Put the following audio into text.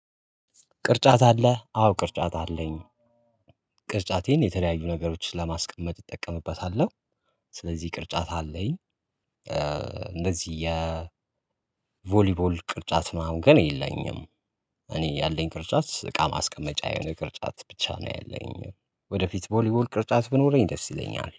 ቅርጫት አለ አዎ ቅርጫት አለኝ ቅርጫቴን የተለያዩ ነገሮችን ለማስቀመጥ እጠቀምበታለሁ። ስለዚህ ቅርጫት አለኝ። እንደዚህ የቮሊቦል ቅርጫት ነው ግን የለኝም። እኔ ያለኝ ቅርጫት እቃ ማስቀመጫ የሆነ ቅርጫት ብቻ ነው ያለኝም። ወደፊት ቦሊቦል ቅርጫት ቢኖረኝ ደስ ይለኛል